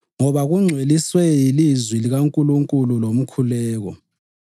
ngoba kungcweliswe yilizwi likaNkulunkulu lomkhuleko.